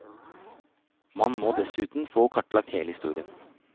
Man må dessuten få kartlagt hele historien.